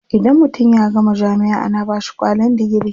Idan mutum ya gama jami'a ana bashi kwalin digiri.